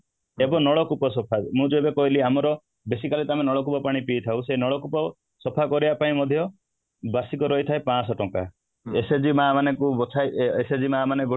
ଏବଂ ନଳକୂପ ସଫା ମୁଁ ଯୋଉଟା କହିଲି ଆମର basically ତ ଆମେ ନଳକୂପ ପାଣି ପିଇଥାଉ ନଳକୂପ ସଫା କରିବା ପାଇଁ ମଧ୍ୟ ବାର୍ଷିକ ରହିଥାଏ ପାଂଶହ ଟଙ୍କା SAG ମାଆ ମାନେ ଯୋଉ ବଛା ହୁଏ SAG ମାଆ ମାନେ